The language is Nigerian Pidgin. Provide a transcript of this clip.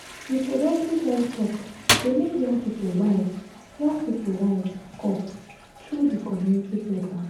reproductive health talk dey make young people wise young people wise up through di community programs.